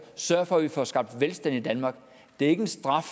sørger for at vi får skabt velstand i danmark det er ikke en straf